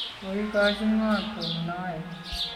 koikochi ng'o tom noe?